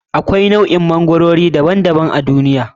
Akwai nau'o'in magwarori daban daban a duniya.